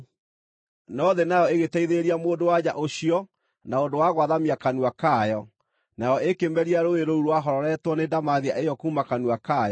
No thĩ nayo ĩgĩteithĩrĩria mũndũ-wa-nja ũcio na ũndũ wa gwathamia kanua kayo, nayo ĩkĩmeria rũũĩ rũu rwahororetwo nĩ ndamathia ĩyo kuuma kanua kayo.